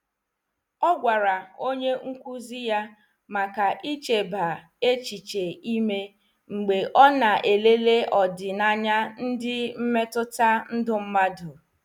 Ọ gwara onye nkụzi ya maka icheba echiche ime mgbe ọ na-elele ọdịnaya ndị mmetụta ndụ mmadụ.